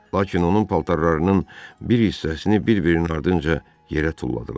Lakin onun paltarlarının bir hissəsini bir-birinin ardınca yerə tulladılar.